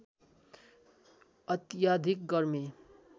अत्याधिक गर्मी